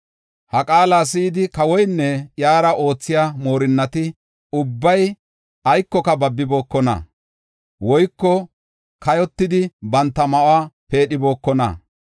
Ha qaala si7idi kawoynne iyara oothiya moorinnati ubbay ayinne babibookona; woyko kayotidi, banta ma7uwa peedhibokonna.